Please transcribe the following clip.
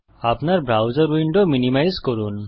আপনার browser window minimise করুন